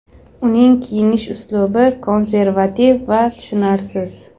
Uning kiyinish uslubi konservativ va tushunarsiz.